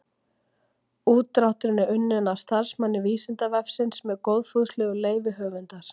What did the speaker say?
Útdrátturinn er unnin af starfsmanni Vísindavefsins með góðfúslegu leyfi höfundar.